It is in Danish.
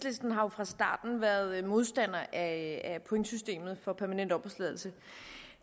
fra starten været modstandere af pointsystemet for permanent opholdstilladelse